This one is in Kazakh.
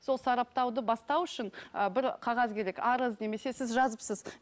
сол сараптауды бастау үшін ы бір қағаз керек арыз немесе сіз жазыпсыз